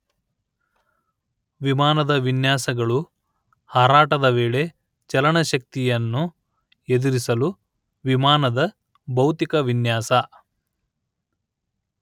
ವಿಮಾನದ ವಿನ್ಯಾಸಗಳು ಹಾರಾಟದ ವೇಳೆ ಚಲನಶಕ್ತಿಯನ್ನು ಎದುರಿಸಲು ವಿಮಾನದ ಭೌತಿಕ ವಿನ್ಯಾಸ